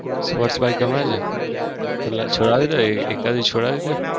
sports bike ગમે ને? છોડાવી દો એવી એકાદી છોડાવી દો.